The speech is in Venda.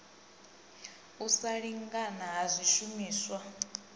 u sa lingana ha swishumiswa